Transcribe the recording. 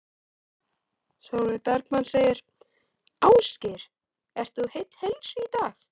Sólveig Bergmann: Ásgeir, ert þú heill heilsu í dag?